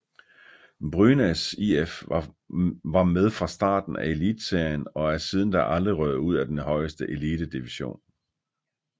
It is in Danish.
Brynäs IF var med fra starten af Elitserien og er siden da aldrig røget ud af den højeste elitedivision